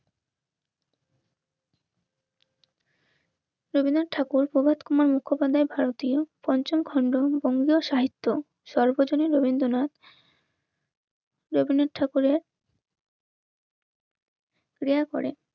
রবীন্দ্রনাথ ঠাকুর প্রভাত কুমার মুখোপাধ্যায় ভারতীয় পঞ্চম খন্ড বঙ্গীয় সাহিত্য সর্বজনীন রবীন্দ্রনাথ রবীন্দ্রনাথ ঠাকুরের প্রেয়ার করে